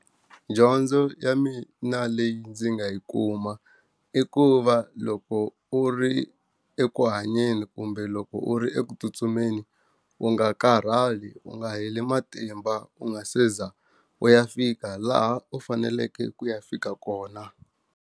Dyondzo ya mina leyi ndzi nga yi kuma i ku va loko u ri eku hanyeni kumbe loko u ri eku tsutsumeni u nga karhali u nga heli matimba u nga se za u ya fika laha u faneleke ku ya fika kona.